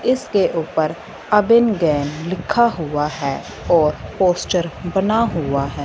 इसके ऊपर अबिन गैन लिखा हुआ है और पोस्टर बना हुआ है।